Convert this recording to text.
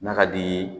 N'a ka di ye